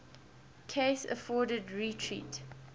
cases afforded retreat